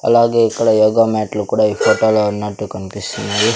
అలాగే ఇక్కడ యోగ మ్యాట్లు కూడా ఈ ఫోటో లో ఉన్నట్టు కనిపిస్తున్నాయి.